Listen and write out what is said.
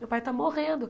Meu pai está morrendo.